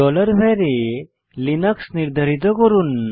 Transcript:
var ভ্যারিয়েবলে Linux নির্ধারিত করুন